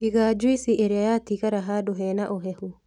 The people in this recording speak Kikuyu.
Iga njuici ĩrĩa yatigara handũ hena ũhehu